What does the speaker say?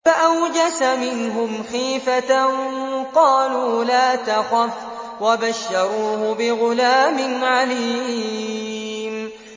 فَأَوْجَسَ مِنْهُمْ خِيفَةً ۖ قَالُوا لَا تَخَفْ ۖ وَبَشَّرُوهُ بِغُلَامٍ عَلِيمٍ